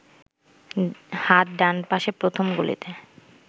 হাত ডান পাশের প্রথম গলিতে